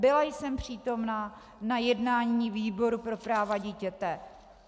Byla jsem přítomna na jednání výboru pro práva dítěte.